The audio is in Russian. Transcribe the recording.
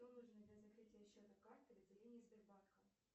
что нужно для закрытия счета карты в отделении сбербанка